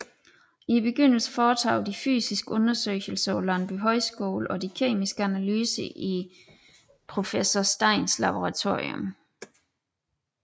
I begyndelsen foretoges de fysiske undersøgelser på Landbohøjskolen og de kemiske analyser i professor Steins Laboratorium